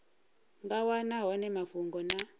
nga wana hone mafhungo na